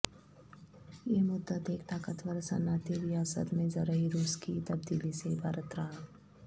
یہ مدت ایک طاقتور صنعتی ریاست میں زرعی روس کی تبدیلی سے عبارت رہا